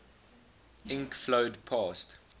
ink flowed past